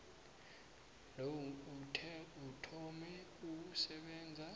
lo uthome ukusebenza